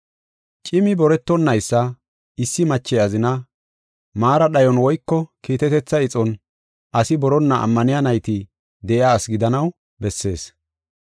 Cimi boretonaysa, issi mache azinaa, maara dhayon woyko kiitetetha ixon asi boronna ammaniya nayti de7iya asi gidanaw bessees.